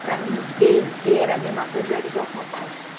Pra mim, Bê e Pê era a mesma coisa, eu era igual o papai.